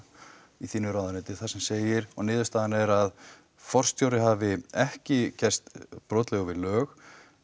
í þínu ráðuneyti þar sem segir og niðurstaðan er að forstjóri hafi ekki gerst brotlegur við lög